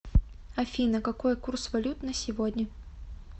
афина какой курс валют на сегодня